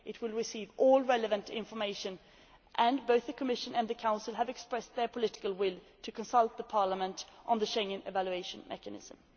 It will receive all relevant information, and both the Commission and the Council have expressed their political will to consult Parliament on the Schengen evaluation mechanism.